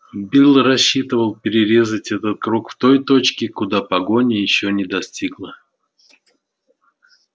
билл рассчитывал перерезать этот круг в той точке куда погоня ещё не достигла